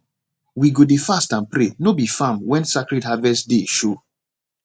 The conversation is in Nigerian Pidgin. we go dey fast and pray no be farm when sacred harvest day show